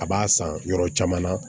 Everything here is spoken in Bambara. A b'a san yɔrɔ caman na